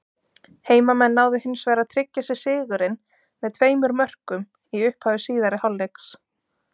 Heimamenn náðu hins vegar að tryggja sér sigurinn með tveimur mörkum í upphafi síðari hálfleiks.